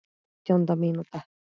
Átjánda mínúta.